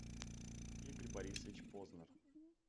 игорь борисович познер